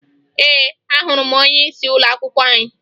Ee, ahụrụ m onyeisi ụlọakwụkwọ anyị